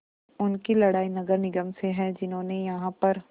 उनकी लड़ाई नगर निगम से है जिन्होंने यहाँ पर